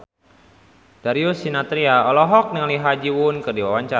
Darius Sinathrya olohok ningali Ha Ji Won keur diwawancara